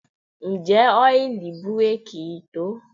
Ǹjẹ́ ọ́ìlì búréèkì yìí tó?